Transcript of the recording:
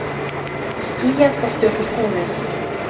Skýjað og stöku skúrir